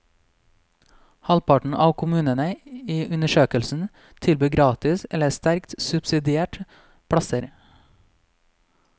Halvparten av kommunene i undersøkelsen tilbyr gratis eller sterkt subsidierte plasser.